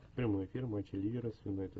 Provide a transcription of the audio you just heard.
прямой эфир матча ливера с юнайтед